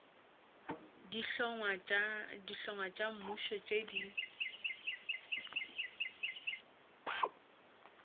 dihlongwa tša mmušo tše di